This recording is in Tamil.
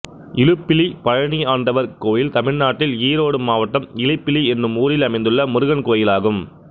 இலுப்பிலி பழனியாண்டவர் கோயில் தமிழ்நாட்டில் ஈரோடு மாவட்டம் இலுப்பிலி என்னும் ஊரில் அமைந்துள்ள முருகன் கோயிலாகும்